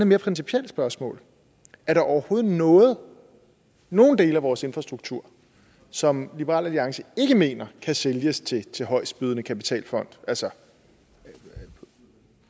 mere principielt spørgsmål er det overhovedet nogen nogen dele af vores infrastruktur som liberal alliance ikke mener kan sælges til til højestbydende kapitalfond altså